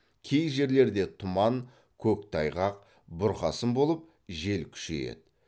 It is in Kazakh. кей жерлерде тұман көктайғақ бұрқасын болып жел күшейеді